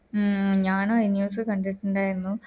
മ് ഞാനു അയ് news കണ്ടിട്ടിണ്ടായിരുന്നു